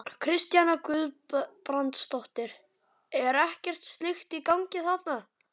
Kristjana Guðbrandsdóttir: Er ekkert slíkt í gangi þarna?